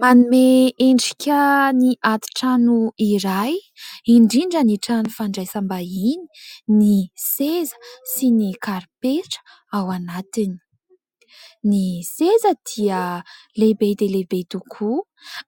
Manome endrika ny atintrano iray, indrindra ny trano fandraisam-bahiny ny seza sy ny karipetra ao anatiny. Ny seza dia lehibe dia lehibe tokoa